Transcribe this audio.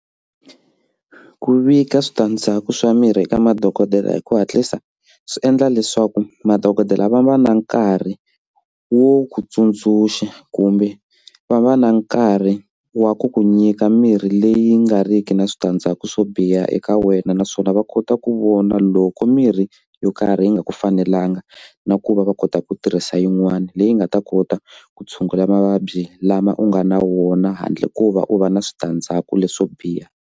Ku vika switandzhaku swa mirhi eka madokodela hi ku hatlisa swi endla leswaku madokodela va va na nkarhi wo ku tsundzuxa kumbe va va na nkarhi wa ku ku nyika mirhi leyi nga riki na switandzhaku swo biha eka wena naswona va kota ku vona loko mirhi yo karhi yi nga ku fanelanga na ku va va kota ku tirhisa yin'wana leyi nga ta kota ku tshungula mavabyi lama u nga na wona handle ko va u va na switandzhaku leswo biha.